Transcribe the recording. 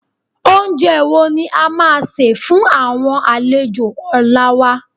Oúnjẹ wo ni a máa sè fún àwọn àlejò ọ̀la wa?